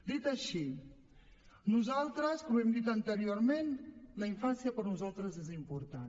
dit això com hem dit anteriorment la infància per nosaltres és important